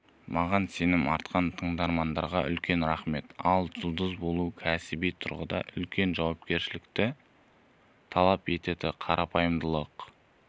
маған сенім артқан тыңдармандарға үлкен рахмет ал жұлдыз болу кәсіби тұрғыдан үлкен жауапкершілікті талап етеді қарапайымдылық